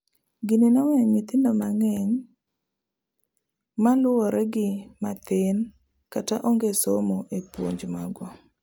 gini noweyo nyithindo mangeny maluore gi mathin kata onge somoo e puonj magwa